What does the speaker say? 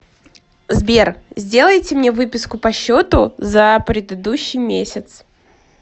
сбер сделайте мне выписку по счету за предыдущий месяц